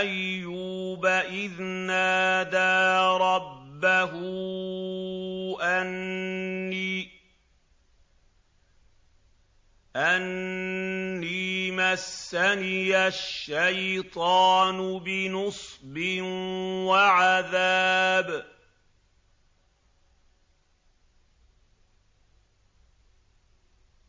أَيُّوبَ إِذْ نَادَىٰ رَبَّهُ أَنِّي مَسَّنِيَ الشَّيْطَانُ بِنُصْبٍ وَعَذَابٍ